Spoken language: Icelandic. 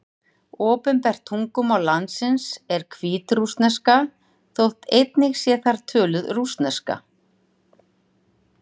Opinbert tungumál landsins er hvítrússneska, þótt einnig sé þar töluð rússneska.